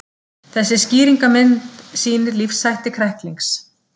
Þessi skýringarmynd sýnir lífshætti kræklings.